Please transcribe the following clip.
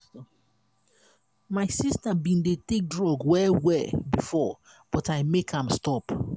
my sister bin dey take drug well well before but i make am stop.